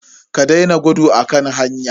Ka daina gudu a kan hanya.